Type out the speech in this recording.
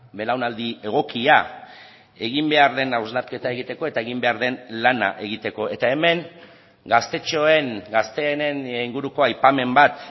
belaunaldi egokia egin behar den hausnarketa egiteko eta egin behar den lana egiteko eta hemen gaztetxoen gazteenen inguruko aipamen bat